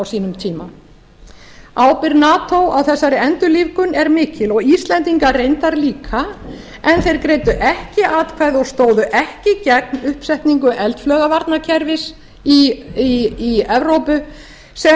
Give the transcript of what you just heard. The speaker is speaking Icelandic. sínum tíma ábyrgð nato á þessari endurlífgun er mikil og íslendinga reyndar líka en þeir greiddu ekki atkvæði og stóðu ekki gegn uppsetningu eldflaugavarnakerfis í evrópu sem